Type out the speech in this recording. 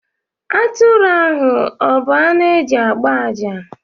Atụrụ ahù a bu anụ e ji agbá àjá